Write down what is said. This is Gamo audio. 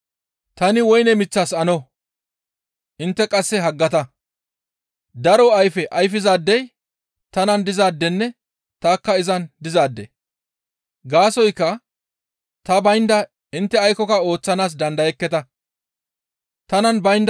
«Tani woyne miththas ano; intte qasse haggata; daro ayfe ayfizaadey tanan dizaadenne tanikka izan dizaade; gaasoykka ta baynda intte aykkoka ooththanaas dandayekketa. Ayfera diza woyne mith